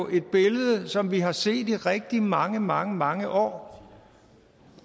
et billede som vi har set i rigtig mange mange mange år